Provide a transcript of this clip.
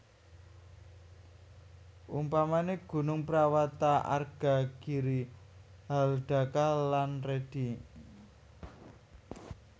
Umpamane gunung prawata arga giri haldaka lan redi